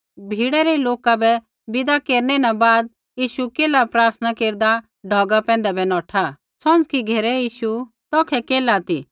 भीड़ै रै लोका बै विदा केरै न बाद यीशु केल्हा प्रार्थना केरदा ढौगा पैंधै बै नौठा सौंझ़की घेरै यीशु तौखै केल्हा ती